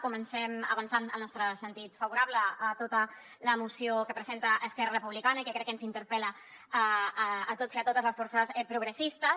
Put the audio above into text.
comencem avançant el nostre sentit favorable a tota la moció que presenta esquerra republicana i que crec que ens interpel·la a tots i a totes les forces progressistes